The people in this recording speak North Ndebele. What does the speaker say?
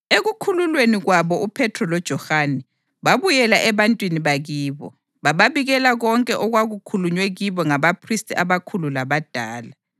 Ekukhululweni kwabo uPhethro loJohane babuyela ebantwini bakibo, bababikela konke okwakukhulunywe kibo ngabaphristi abakhulu labadala.